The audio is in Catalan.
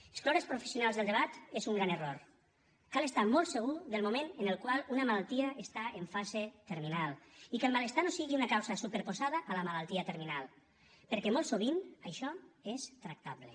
excloure els professionals del debat és un gran error cal estar molt segur del moment en el qual una malaltia està en fase terminal i que el malestar no sigui una causa superposada a la malaltia terminal perquè molt sovint això és tractable